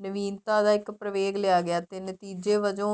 ਨਵੀਨਤਾ ਦਾ ਇੱਕ ਪ੍ਰਵੇਗ ਲਿਆ ਗਿਆ ਤੇ ਨਤੀਜੇ ਵਜੋ